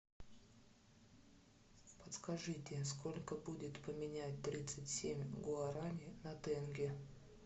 подскажите сколько будет поменять тридцать семь гуарани на тенге